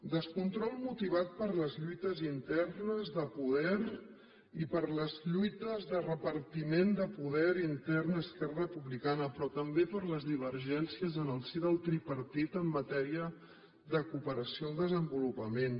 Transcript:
descontrol motivat per les lluites internes de poder i per les lluites de repartiment de poder intern a esquerra republicana però també per les divergències en el si del tripartit en matèria de cooperació al desenvolupament